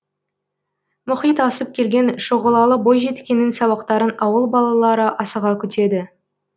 мұхит асып келген шұғылалы бойжеткеннің сабақтарын ауыл балалары асыға күтеді